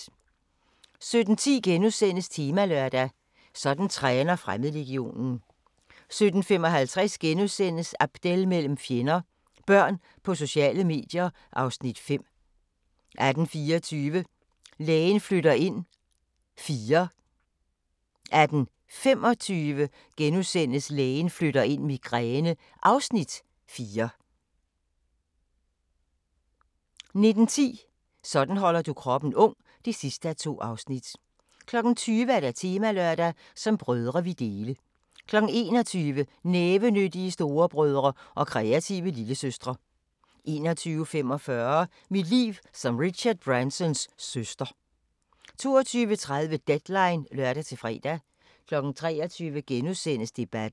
17:10: Temalørdag: Sådan træner Fremmedlegionen * 17:55: Abdel mellem fjender – Børn på sociale medier (Afs. 5)* 18:24: Lægen flytter ind IV 18:25: Lægen flytter ind – Migræne (Afs. 4)* 19:10: Sådan holder du kroppen ung (2:2) 20:00: Temalørdag: Som brødre vi dele 21:00: Nævenyttige storebrødre og kreative lillesøstre 21:45: Mit liv som Richard Bransons søster 22:30: Deadline (lør-fre) 23:00: Debatten *